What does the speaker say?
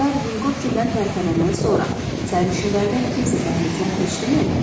Qatar Vinkovçidən tərpənəndən sonra sərnişinlərdən kimsə dəhlizdən keçdimi?